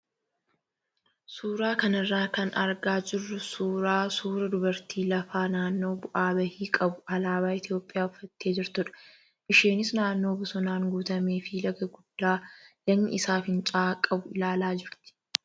Suuraa kanarraa kan argaa jirru suuraa suuraa dubartii lafa naannoo bu'aa bahii qabu alaabaa Itoophiyaa uffattee jirtudha. Isheenis naannoo bosonaan guutamee fi laga guddaa lagni isaa fincaa'aa qabu ilaalaa jirti.